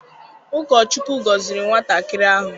Ụkọ Chukwu gọziri nwatakịrị ahụ.